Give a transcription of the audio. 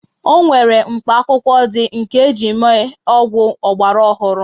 O nwere mkpaakwụkwọ ndị nke e ji mee ọgwụ ọgbaraọhụrụ